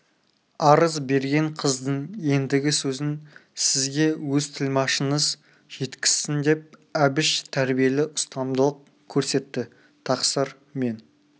арыз берген қыздың ендігі сөзін сізге өз тілмашыңыз жеткізсін деп әбіш тәрбиелі ұстамдылық көрсетті тақсыр мен